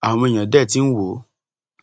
àwọn èèyàn dé tí ń wò ó